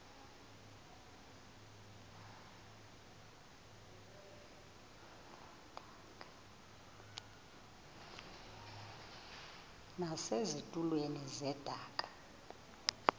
base zitulmeni zedaka